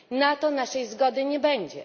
Na to naszej zgody nie będzie.